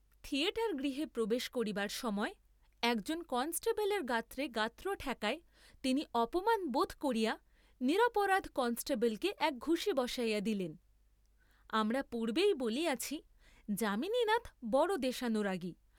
Theatre গৃহে প্রবেশ করিবার সময় একজন কনেষ্টবলের গাত্রে গাত্র ঠেকায় তিনি অপমান বোধ করিয়া নিরপরাধ কষ্টেবলকে এক ঘুসি বসাইয়া দিলেন, আমরা পূর্ব্বেই বলিয়াছি, যামিনীনাথ বড় দেশানুরাগী।